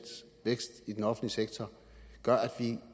vækst i den offentlige sektor gør at vi